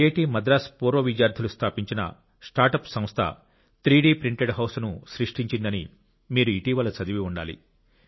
IIT Madras పూర్వ విద్యార్థులు స్థాపించిన స్టార్ట్అప్ సంస్థ 3 డి ప్రింటెడ్ హౌస్ను సృష్టించిందని మీరు ఇటీవల చదివి ఉండాలి